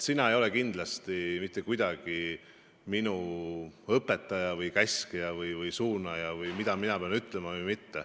Sina ei ole kindlasti mitte kuidagi minu õpetaja või käskija või suunaja, et öelda, mida ma pean ütlema.